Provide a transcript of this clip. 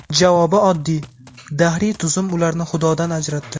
Javobi oddiy: dahriy tuzum ularni xudodan ajratdi.